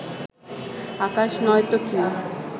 আকাশ নয়তো কী